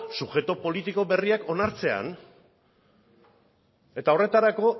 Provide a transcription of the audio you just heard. subjektu politiko berriak onartzean eta horretarako